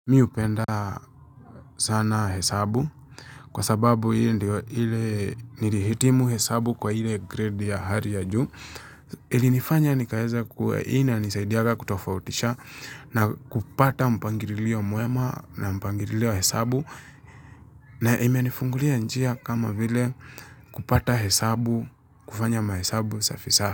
Mi upenda sana hesabu kwa sababu hii ndio ile nilihitimu hesabu kwa ile grade ya hari ya juu. Ilinifanya nikaeza kuwa hii inanisaidiaga kutofautisha na kupata mpangirilio muema na mpangirilio wa hesabu. Na imenifungulia njia kama vile kupata hesabu, kufanya mahesabu safi safi.